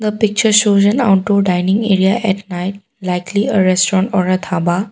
the picture shows an outdoor dining area at night likely or restaurant or a dhaba.